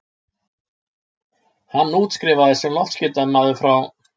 Hann útskrifaðist sem loftskeytamaður frá